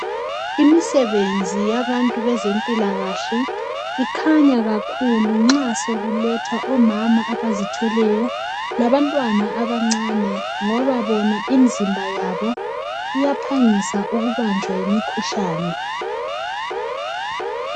Imisebenzi yabantu bezempilakahle, ikhanya kakhulu nxa sekuletha omama abazithweleyo labantwana abancane. Ngoba bona imizimba yabo iyaphangisa ukubanjwa yimikhuhlane.